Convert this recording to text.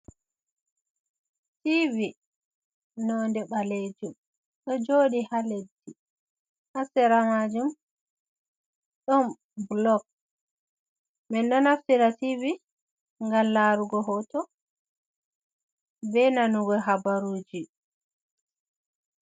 Tivi none ɓalejum ɗo joɗi ha leddi, hasera majum ɗon bulog, min ɗo naftira tivi ngam larugo hoto, be nanugo habaruji.